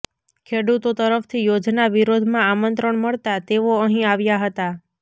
ખેડૂતો તરફથી યોજના વિરોધમાં આમંત્રણ મળતા તેઓ અહીં આવ્યા હતા